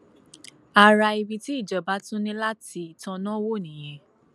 ara ibi tí ìjọba tún ní láti tanná wò nìyẹn